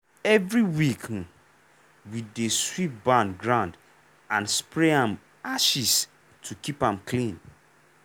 every week um we dey sweep barn ground and spray am ashes to keep am clean